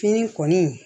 Fini kɔni